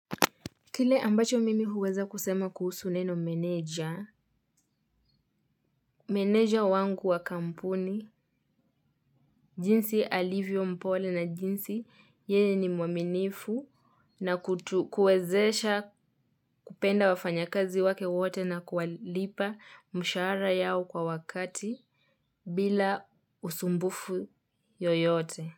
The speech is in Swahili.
Kile ambacho mimi huweza kusema kuhusu neno menaja, meneja wangu wa kampuni, jinsi alivyo mpole na jinsi yeye ni mwaminifu na kuwezesha kupenda wafanya kazi wake wote na kuwalipa mshara yao kwa wakati bila usumbufu yoyote.